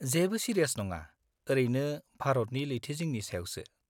-जेबो सिरियास नङा, ओरैनो भारतनि लैथोजिंनि सायावसो।